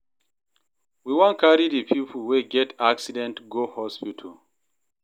We wan carry di pipo wey get accident go hospital.